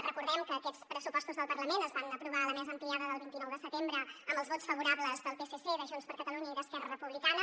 recordem que aquests pressupostos del parlament es van aprovar a la mesa ampliada del vint nou de setembre amb els vots favorables del psc de junts per catalunya i d’esquerra republicana